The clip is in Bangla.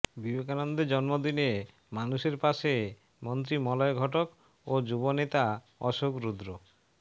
বিবেকানন্দের জন্মদিনে মানুষের পাশে মন্ত্রী মলয় ঘটক ও যুব নেতা অশোক রুদ্র